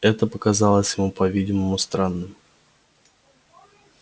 это показалось ему по-видимому странным